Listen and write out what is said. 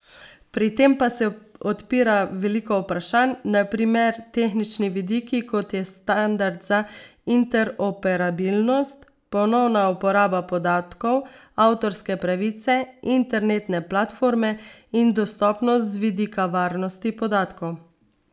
Pri tem pa se odpira veliko vprašanj, na primer tehnični vidiki, kot je standard za interoperabilnost, ponovna uporaba podatkov, avtorske pravice, internetne platforme in dostopnost z vidika varnosti podatkov.